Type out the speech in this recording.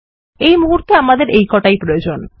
এই মুহুর্তে আমাদের এই কোটি ই প্রয়োজন